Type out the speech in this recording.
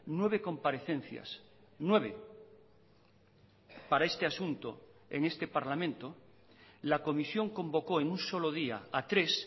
nueve comparecencias nueve para este asunto en este parlamento la comisión convocó en un solo día a tres